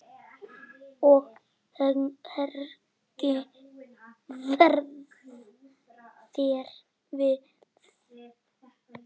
Og hvernig varð þér við?